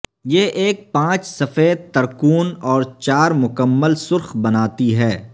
یہ ایک پانچ سفید ترکون اور چار مکمل سرخ بناتی ہے